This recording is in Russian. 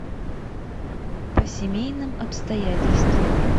по семейным обстоятельствам